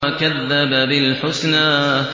وَكَذَّبَ بِالْحُسْنَىٰ